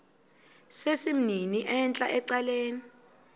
sesimnini entla ecaleni